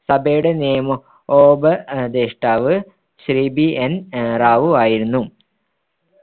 സഭയുടെ നിയമോപദേഷ്ടാവ് ശ്രീ BN റാവു ആയിരുന്നു